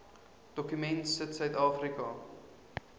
dokument sit suidafrika